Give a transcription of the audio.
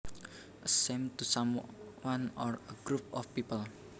A shame to someone or a group of people